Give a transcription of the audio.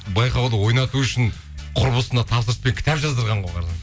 байқауды ойнату үшін құрбысына тапсырыспен кітап жаздырған ғой